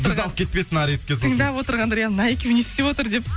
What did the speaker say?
бізді алып кетпесін арестке сосын тыңдап отырғандар иә мына екеуі не істеп отыр деп